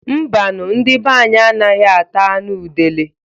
Mbanu, ndi banyi anaghị ata anụ udele